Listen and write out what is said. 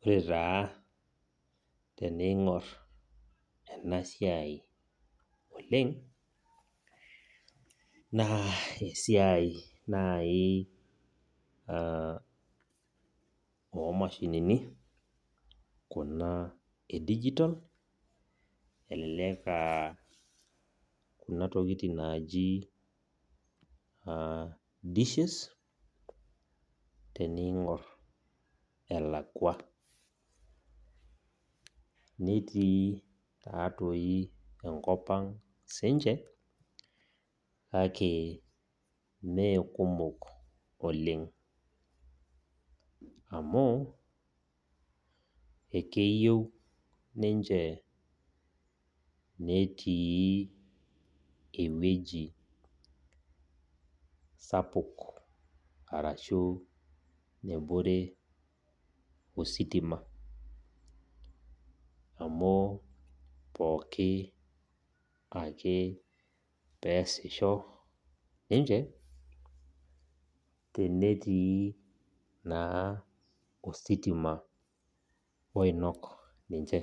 Ore taa teneing'or ena siai oleng' naa esiai naaji oo mashinini kuna e dijitol, elelek naaji dishes tening'or elakwa. Netii naa toi enkop ang' sininche kake mee kumok oleng' amu ekeyieu ninche netii ewueji sapuk arashu nebore ositima, amu pooki ake peasisho ninche tenetii naa ositima oinok ninche.